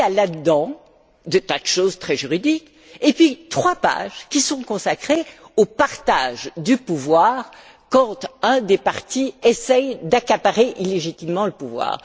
Et il y a dans ce texte des tas de choses très juridiques et trois pages qui sont consacrées au partage du pouvoir quand un des partis essaie d'accaparer illégitimement le pouvoir.